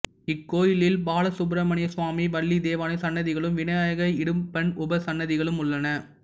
இக்கோயிலில் பாலசுப்பிரமணியசுவாமி வள்ளி தெய்வானை சன்னதிகளும் விநாயகர் இடும்பன் உபசன்னதிகளும் உள்ளன